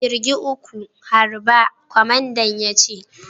A'kirgin uku, harba!! Kwamandan ya ce.